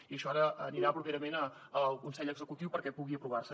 i això ara anirà properament al consell executiu perquè pugui aprovar se